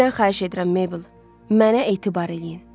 Sizdən xahiş edirəm Maybel, mənə etibar eləyin.